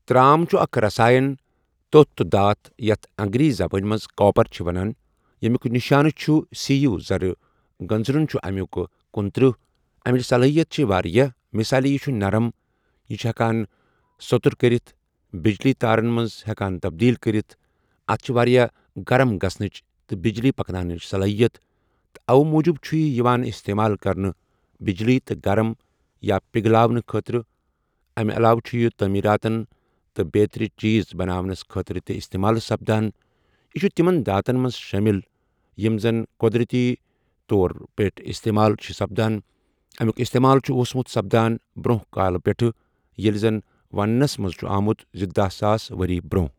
ترٛام چھُ اَکھ رساێن تۄتھ تہٕ داتھ یَتھ اَنٛگریٖزی زَبان مَنٛز کاپرَ چھِ ونان ییٚمیوٚک نِشانہٕ چھُ سی یو، زَرٕ گٔنزٛرُن چھِ اَمیوٚک کنُتٕٔرہ اَمِچ صلٲحِیَت چھےٚ واریاہ، مِثالے یہِ چھُ نَرَم، یہِ چھِ ہَؠکان سٔتُر کٔرِتھ، بِجلی تَارَن مَنٛز ہَؠکان تبدیٖل کٔرِتھ، اَتھ چھِ واریاہ گَرَم گژٕھنٔچ تہٕ بِجلی پَکنآونٕچ صلٲحِیَت تہِ اَوٕ موٗجوٗب چھِ یہِ یِوان اِستعمال کرنہٕ بِجلی تہٕ گَرَم یا پِغلاؤنہٕ کھٲترٕ اَمہِ عَلاوٕ چھُ یہِ تٲمیٖراتن تہٕ بیترِ چیٖز بناونَس کھٲترٕ تہِ اِستِمال سَپدَان یہِ چھُ تِمن دھاتن مَنٛز شٲمِل یِمہٕ زَن قدٕرَتی طورَن پؠٹھ اِستِمال چھِ سَپدان اَمیوٚک اِستِمال چھُ اوسمُت سَپدان بروٚنٛہہ کالہٕ پؠٚٹَھے، ییٚلہِ زَن وَنٕنَس مَنٛز چھُ آمُت زِ دَہ ساس ؤرِی برونٛہہ۔